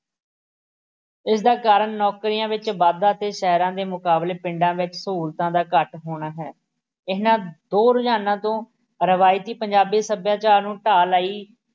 ਇਸ ਦਾ ਕਾਰਨ ਨੌਕਰੀਆਂ ਵਿੱਚ ਵਾਧਾ ਅਤੇ ਸ਼ਹਿਰਾਂ ਦੇ ਮੁਕਾਬਲੇ ਪਿੰਡਾਂ ਵਿੱਚ ਸਹੂਲਤਾਂ ਦਾ ਘੱਟ ਹੋਣਾ ਹੈ ਇਹਨਾਂ ਦੇ ਰੁਝਾਨਾਂ ਤੋਂ ਰਵਾਇਤੀ ਪੰਜਾਬੀ ਸੱਭਿਆਚਾਰ ਨੂੰ ਢਾਹ ਲਾਈ